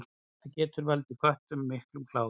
Það getur valdið köttum miklum kláða.